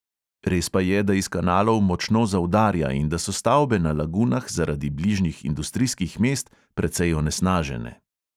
Res pa je, da iz kanalov močno zaudarja in da so stavbe na lagunah zaradi bližnjih industrijskih mest precej onesnažene.